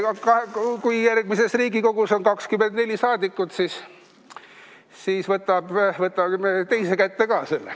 Kui järgmises Riigikogus on 24 saadikut, siis võtame teise kätte ka selle.